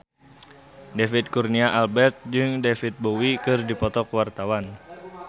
David Kurnia Albert jeung David Bowie keur dipoto ku wartawan